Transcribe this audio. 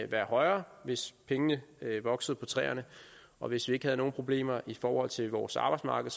være højere hvis pengene voksede på træerne og hvis vi ikke havde nogen problemer i forhold til vores arbejdsmarked